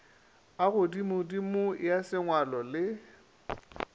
a godimodimo ya sengwalo le